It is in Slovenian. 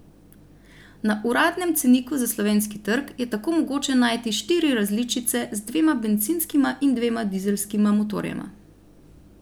Na uradnem ceniku za slovenski trg je tako mogoče najti štiri različice z dvema bencinskima in dvema dizelskima motorjema.